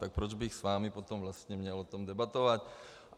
Tak proč bych s vámi potom vlastně o tom měl debatovat?